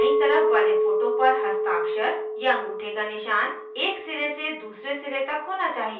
बायीं तरफ वाले photo पर हस्ताक्षर/अँगूठे का निशान एक सिरे से दूसरे सिरे तक होना चाहिए